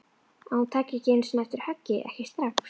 Að hún taki ekki einu sinni eftir höggi, ekki strax.